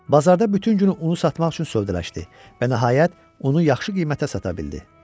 Bazarda bütün günü unu satmaq üçün sövdələşdi və nəhayət, unu yaxşı qiymətə sata bildi.